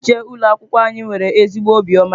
Onye nche ụlọ akwụkwọ anyị nwere ezigbo obiọma.